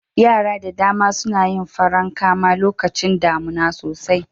Yara da dama suna yin farankama lokacin damuna sosai.